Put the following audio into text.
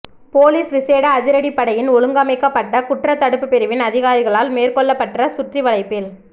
police விசேட அதிரடிப்படையின் ஒழுங்கமைக்கப்பட்ட குற்றத்தடுப்பு பிரிவின் அதிகாரிகளால் மேற்கொள்ளப்பட்ட சுற்றிவளைப்பில்